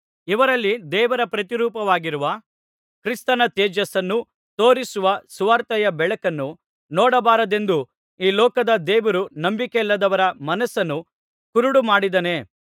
ಇವರಲ್ಲಿ ದೇವರ ಪ್ರತಿರೂಪವಾಗಿರುವ ಕ್ರಿಸ್ತನ ತೇಜಸ್ಸನ್ನು ತೋರಿಸುವ ಸುವಾರ್ತೆಯ ಬೆಳಕನ್ನು ನೋಡಬಾರದೆಂದು ಈ ಲೋಕದ ದೇವರು ನಂಬಿಕೆಯಿಲ್ಲದವರ ಮನಸ್ಸನ್ನು ಕುರುಡು ಮಾಡಿದ್ದಾನೆ